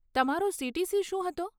તમારો સીટીસી શું હતો?